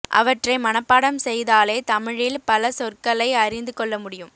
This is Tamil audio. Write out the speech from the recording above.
அவற்றை மனப்பாடம் செய்தாலே தமிழில் பல சொற்களை அறிந்து கொள்ள முடியும்